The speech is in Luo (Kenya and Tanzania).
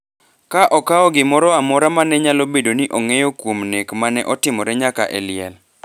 ka okawo gimoro amora ma ne nyalo bedo ni ong’eyo kuom nek ma ne otimre nyaka e liel.